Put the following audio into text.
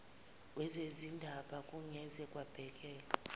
wezezindaba kungeze kwabhekelwa